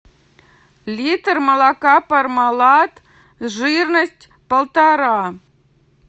литр молока пармалат жирность полтора